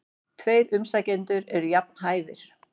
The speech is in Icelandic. Tveir umsækjendur eru jafn hæfir.